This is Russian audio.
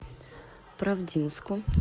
правдинску